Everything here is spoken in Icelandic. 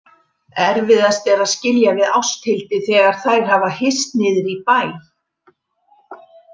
Erfiðast er að skilja við Ásthildi þegar þær hafa hist niðri í bæ.